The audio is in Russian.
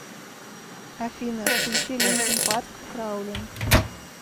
афина включи линкин парк краулинк